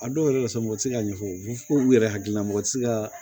A dɔw yɛrɛ la sabu u ti se ka ɲɛfɔ u fɔ k'u yɛrɛ hakilila mɔgɔ ti se ka